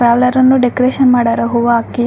ಪಾರ್ಲರ್ನು decoration ಮಾಡರ ಹೂವ ಹಾಕಿ --